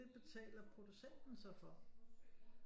Betaler producenten så for